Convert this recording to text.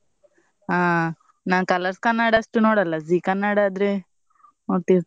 ಹಾ ನಾನ್ Colors Kannada ಅಷ್ಟು ನೋಡಲ್ಲ Zee Kannada ಆದ್ರೆ ನೊಡ್ತಿರ್ತೇನೆ